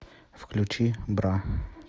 включи бра